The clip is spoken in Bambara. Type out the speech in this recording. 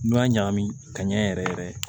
N'i y'a ɲagami ka ɲɛ yɛrɛ yɛrɛ